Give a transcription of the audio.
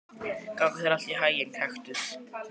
Gangi þér allt í haginn, Kaktus.